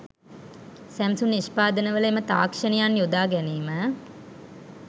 Samsung නිෂ්පාදන වල එම තාක්ෂණයන් යොදා ගැනීම